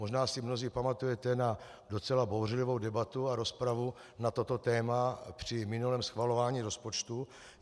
Možná si mnozí pamatujete na docela bouřlivou debatu a rozpravu na toto téma při minulém schvalování rozpočtu.